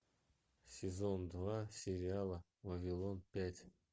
сезон два сериала вавилон пять